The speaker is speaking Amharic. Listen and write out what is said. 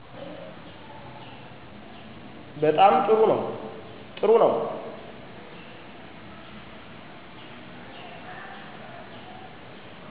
በጣም ጥሩ ነው ጥሩ ነው